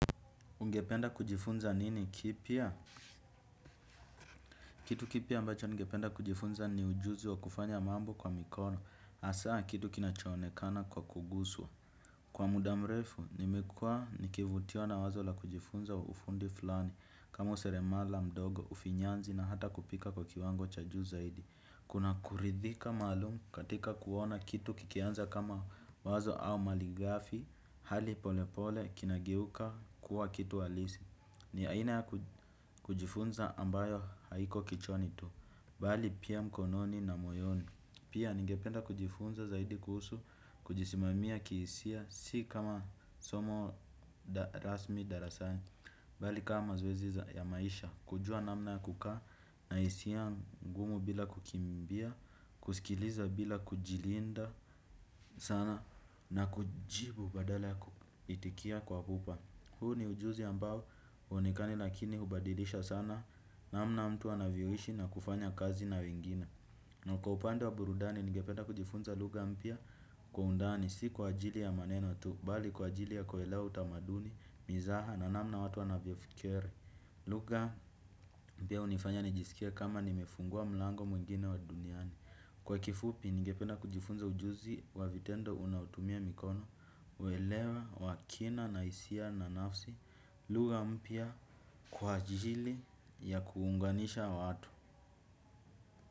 Ungependa kujifunza nini kipya? Kitu kipya ambacho ningependa kujifunza ni ujuzi wa kufanya mambo kwa mikono. Asaa kitu kinachoonekana kwa kuguswa. Kwa muda mrefu, nimekua nikivutiwa na wazo la kujifunza ufundi fulani. Kama useremala mdogo, ufinyanzi na hata kupika kwa kiwango cha juu zaidi. Kuna kuridhika malumu katika kuona kitu kikianza kama wazo au maligafi. Hali pole pole kinageuka kuwa kitu halisi. Ni haina ya kujifunza ambayo haiko kichwani tu, bali pia mkononi na moyoni. Pia ningependa kujifunza zaidi kuhusu, kujisimamia kihisia, si kama somo rasmi darasani bali kama mazoezi za ya maisha, kujua namna ya kukaa, na hisia ngumu bila kukimbia, kusikiliza bila kujilinda sana. Na kujibu badala ya kuitikia kwa hupa. Huu ni ujuzi ambao huonekani lakini hubadidisha sana namna mtu anavyoishi na kufanya kazi na wengine. Na kwa upande wa burudani, nigependa kujifunza lugha mpya kwa undani, si kwa ajili ya maneno tu, bali kwa ajili ya kuelea utamaduni, mizaha na namna watu wanavyofikiri. Lugha mpya unifanya nijisikie kama nimefungua mlango mwingine wa duniani. Kwa kifupi, nigependa kujifunza ujuzi wa vitendo unaotumia mikono, weelewa, wa kina, na hisia, na nafsi, lugha mpya kwa ajili ya kuunganisha watu.